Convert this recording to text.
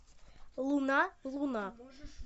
луна луна